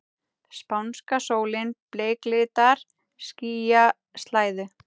Spánska sólin bleiklitar skýjaslæðu.